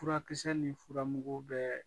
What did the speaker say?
Furakisɛ ni furamugw bɛɛ